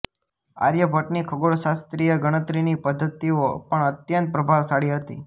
આર્યભટ્ટની ખગોળશાસ્ત્રીય ગણતરીની પદ્ધતિઓ પણ અત્યંત પ્રભાવશાળી હતી